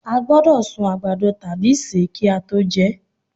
a gbódò sún àgbàdo tabi se ki a to jẹ